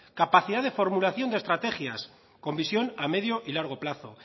capacidad de formulación de estrategias con visión a medio y largo plazo